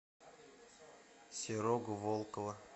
серого волкова